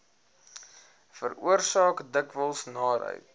veroorsaak dikwels naarheid